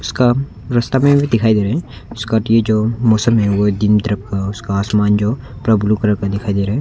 उसका रास्ता में भी दिखाई दे रहे है उसका कि जो मौसम है वो दिन तरफ का उसका आसमान जो पूरा ब्लू कलर का दिखाई दे रहा है।